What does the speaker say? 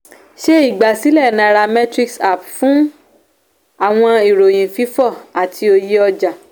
ṣe igbasilẹ nairametrics app fun awọn iroyin fifọ ati oye ọja.